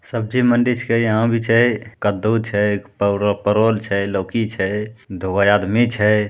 सब्जी मंडी छीके यहां भी छै कद्दू छै परो परवल छै लौकी छै दुगो आदमी छै।